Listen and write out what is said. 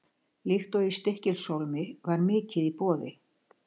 Líkt og í Stykkishólmi var mikið í boði.